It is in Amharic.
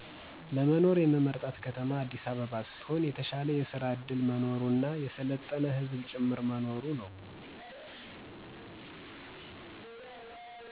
መኖር የምመርጣት ከተማ አዲሰ አበባ ሰትሆን የተሻለ የሰራ ዕድል መኖሩና የሰለጠነ ህዝብም ጭምር መኖሩ ነው።